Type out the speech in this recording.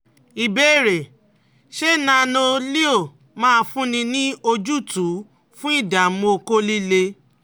Ìbéèrè: Ṣé Nano-Leo máa fúnni ní ojútùú fun idamu okó líle?